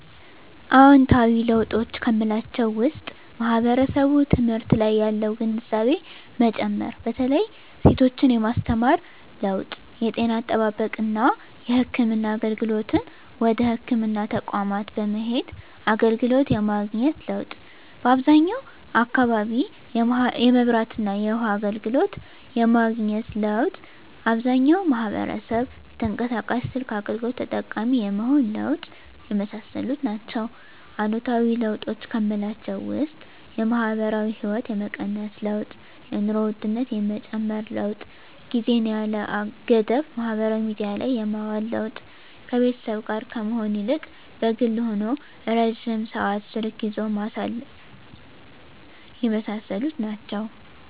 አዎንታዊ ለውጦች ከምላቸው ውስጥ ማህበረሰቡ ትምህርት ላይ ያለው ግንዛቤ መጨመር በተለይ ሴቶችን የማስተማር ለውጥ የጤና አጠባበቅና የህክምና አገልግሎትን ወደ ህክምና ተቋማት በመሄድ አገልግሎት የማግኘት ለውጥ በአብዛኛው አካባቢ የመብራትና የውሀ አገልግሎት የማግኘት ለውጥ አብዛኛው ማህበረሰብ የተንቀሳቃሽ ስልክ አገልግሎት ተጠቃሚ የመሆን ለውጥ የመሳሰሉት ናቸው። አሉታዊ ለውጦች ከምላቸው ውስጥ የማህበራዊ ህይወት የመቀነስ ለውጥ የኑሮ ውድነት የመጨመር ለውጥ ጊዜን ያለ ገደብ ማህበራዊ ሚዲያ ላይ የማዋል ለውጥ ከቤተሰብ ጋር ከመሆን ይልቅ በግል ሆኖ ረጅም ሰዓት ስልክ ይዞ ማሳለፍ የመሳሰሉት ናቸው።